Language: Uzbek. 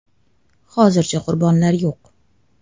“Hozircha qurbonlar yo‘q”.